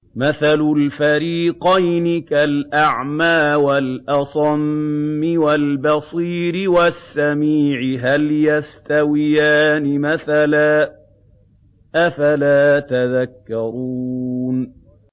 ۞ مَثَلُ الْفَرِيقَيْنِ كَالْأَعْمَىٰ وَالْأَصَمِّ وَالْبَصِيرِ وَالسَّمِيعِ ۚ هَلْ يَسْتَوِيَانِ مَثَلًا ۚ أَفَلَا تَذَكَّرُونَ